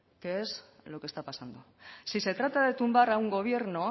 que es lo que está pasando si se trata de tumbar a un gobierno